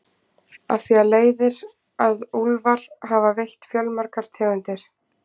Af því leiðir að úlfar hafa veitt fjölmargar tegundir.